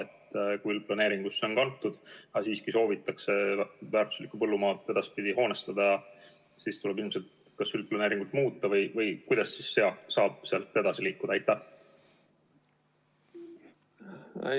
Kui see maa on üldplaneeringusse kantud, aga siiski soovitakse väärtuslikku põllumaad edaspidi hoonestada, siis tuleb ilmselt üldplaneeringut muuta või kuidas saab sealt edasi liikuda?